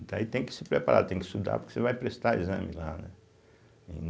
Então aí tem que se preparar, tem que estudar, porque você vai prestar exame lá, né?